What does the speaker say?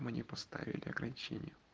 мне поставили ограничение